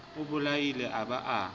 o bolaile a ba a